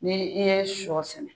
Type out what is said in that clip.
Ni i ye sɔ sɛnɛ